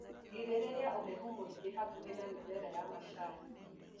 Girĩrĩria ũhehu mũingĩ hakuhĩ na mĩmera ya macani.